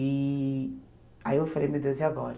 E aí eu falei, meu Deus, e agora?